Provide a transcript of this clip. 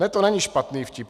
Ne, to není špatný vtip.